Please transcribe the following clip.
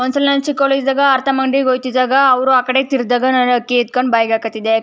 ಒಂದ್ಸಲ ನಾನು ಚಿಕ್ಕವಳಿದ್ದಾಗ ಆರ್ತಮ್ ಅಂಗ್ಡಿಗೆ ಹೋಯ್ತಿದ್ದಾಗ ಅವರು ಆ ಕಡೆ ತಿರುಗಿದಾಗ ನಾನು ಅಕ್ಕಿ ಎತ್ಕೊಂಡು ಬಾಯಿಗೆ ಹಾಕತಿದ್ದೆ.